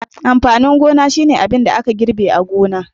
Amfanin gona shine abin da aka girbe gona